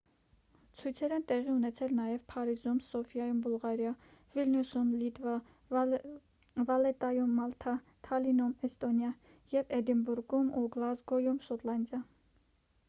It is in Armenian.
ցույցեր են տեղի ունեցել նաև փարիզում սոֆիայում բուլղարիա վիլնյուսում լիտվա վալետայում մալթա թալինում էստոնիա և էդինբուրգում ու գլազգոյում շոտլանդիա